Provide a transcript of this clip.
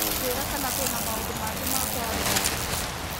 Njĩra kana kwĩna maũndũ mangĩ ma kũarĩrĩria.